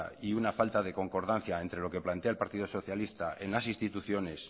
y una falta de concordancia entre lo que plantea el partido socialista en las instituciones